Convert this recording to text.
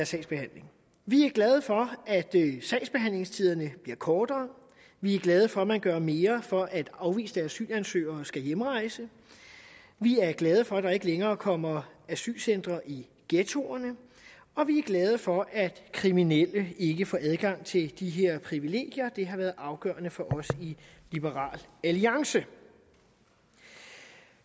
sagsbehandling vi er glade for at sagsbehandlingstiderne bliver kortere vi er glade for at man gør mere for at afviste asylansøgere skal hjemrejse vi er glade for at der ikke længere kommer asylcentre i ghettoerne og vi er glade for at kriminelle ikke får adgang til de her privilegier det har været afgørende for os i liberal alliance